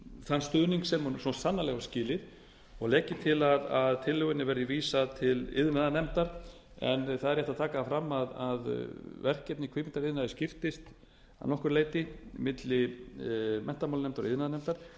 þann stuðning sem hún svo sannarlega á skilið og legg ég til að tillögunni verði vísað til iðnaðarnefndar en það er rétt að taka það fram að verkefni kvikmyndaiðnaðarins skiptist að nokkru leyti milli menntamálanefndar og iðnaðarnefndar en